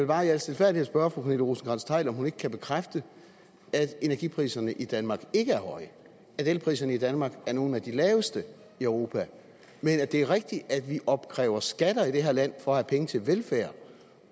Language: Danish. bare i al stilfærdighed spørge fru pernille rosenkrantz theil om hun ikke kan bekræfte at energipriserne i danmark ikke er høje at elpriserne i danmark er nogle af de laveste i europa men at det er rigtigt at vi opkræver skatter i det her land for at have penge til velfærd